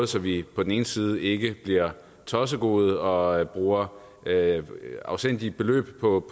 så vi på den ene side ikke bliver tossegode og bruger afsindige beløb på